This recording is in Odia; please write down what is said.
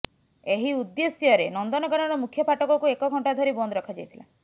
ଏହି ଉଦ୍ଦେଶ୍ୟରେ ନନ୍ଦନକାନନ ମୁଖ୍ୟ ଫାଟକକୁ ଏକଘଣ୍ଟା ଧରି ବନ୍ଦ ରଖା ଯାଇଥିଲା